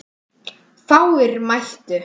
Fáir mættu.